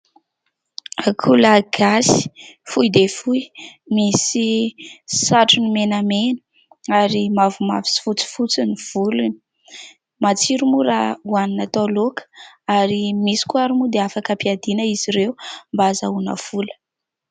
Akoho lahy gasy, fohy dia fohy, misy satrony menamena ary mavomavo sy fotsifotsy ny volony. Matsiro moa raha hoanina atao laoka ary misy koa ary moa dia afaka ampiadiana izy ireo mba ahazoana vola.